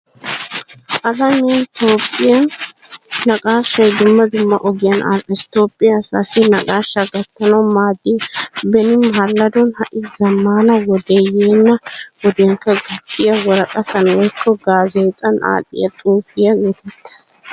Alamiyaninne toophphiyan naaqashshay dumma dumma ogiyan adhdhees. Toophphiyaa asaasi naaqashshaa gattanawu maadiya beeni maladon hai zamaana wode yeena wodiyankka gattiya worqqataan woykko gaazexxan adhdhiyaa xuufiyaa getetees.